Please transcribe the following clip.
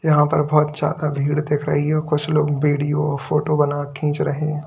यहां पर बहोत ज्यादा भीड़ दिख रही है और कुछ लोग वीडियो फोटो बनाकर खींच रहे हैं।